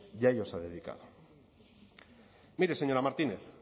y a ello se ha dedicado mire señora martínez